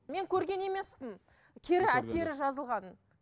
мен көрген емеспін кері әсері жазылғанын